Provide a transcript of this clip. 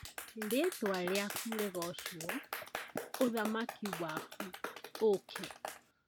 Rĩtwa rĩaku rĩgocwo ,ũthamaki waku ũũke